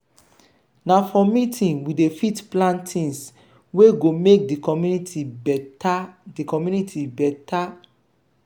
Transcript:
na for meeting we dey fit plan tins wey go make di community beta. di community beta.